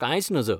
कांयच नज .